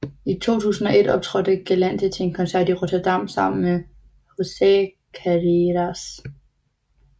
I 2001 optrådte Galante til en koncert i Rotterdam sammen med José Carreras